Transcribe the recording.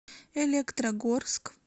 электрогорск